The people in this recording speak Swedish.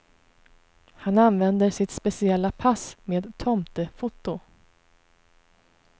Han använder sitt speciella pass med tomtefoto.